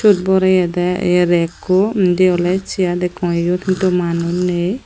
syot boreyedey ye rackko indi oley chair dekkong iyot hintu manus nei.